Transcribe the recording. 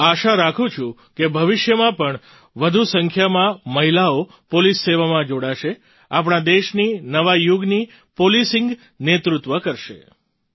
હું આશા કરું છું કે ભવિષ્યમાં પણ વધુ સંખ્યામાં મહિલાઓ પોલીસ સેવામાં જોડાશે આપણા દેશની નવા યુગની Policingનું નેતૃત્વ કરશે